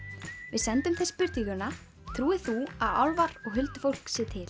við sendum þeim spurninguna trúir þú að álfar og huldufólk sé til